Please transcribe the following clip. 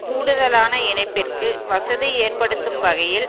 கூடுதலான இணைப்பிற்கு வசதி ஏற்படுத்தும் வகையில்